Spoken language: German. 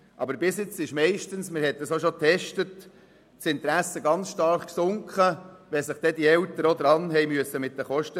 Aber bisher sank das Interesse meistens sehr stark, wenn sich die Eltern an den Kosten beteiligen mussten.